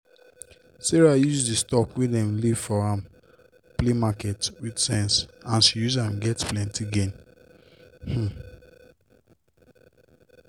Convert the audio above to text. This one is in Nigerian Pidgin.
sarah use d stock wey dem leave for am play market with sense and she use am get plenty gain. um